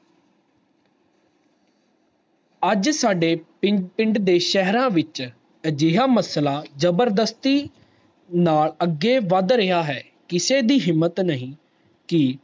ਅਜ ਸਾਡੇ ਪਿੰਡ ਦੇ ਸੇਹਰਾ ਵਿਚ ਅਜਿਹਾ ਮਸਲਾ ਜਬਰਦਸਤੀ ਨਾਲ ਅਗੇ ਵੱਧ ਰਿਹਾ ਹੈ ਕਿਸੇ ਦੀ ਹਿੰਮਤ ਨਹੀਂ ਕਿ